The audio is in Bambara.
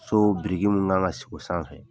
So biriki mun kan ka sigi o sanfɛ